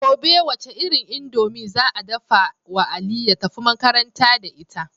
Gobe wace irin indomie za a dafawa ali ya tafi makaranta da ita